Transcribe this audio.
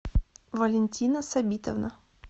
валентина сабитовна